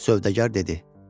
Sövdəgər dedi: